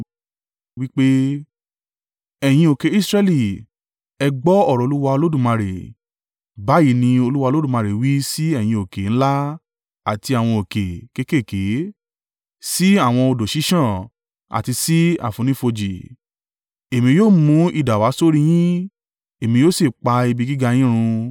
wí pé, ‘Ẹ̀yin òkè Israẹli, ẹ gbọ́ ọ̀rọ̀ Olúwa Olódùmarè. Báyìí ni Olúwa Olódùmarè wí sí ẹ̀yin òkè ńlá àti àwọn òkè kéékèèké, sí àwọn odò ṣíṣàn àti sí àfonífojì, èmi yóò mú idà wa sórí yín, èmí yóò sì pa ibi gíga yín run.